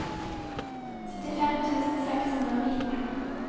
syttifem tusen seks hundre og nitten